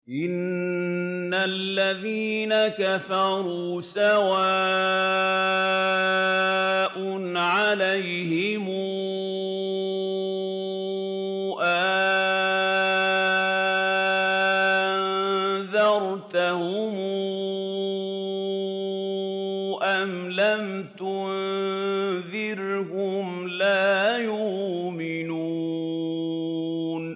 إِنَّ الَّذِينَ كَفَرُوا سَوَاءٌ عَلَيْهِمْ أَأَنذَرْتَهُمْ أَمْ لَمْ تُنذِرْهُمْ لَا يُؤْمِنُونَ